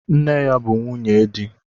Nne ya bụ nwunye di.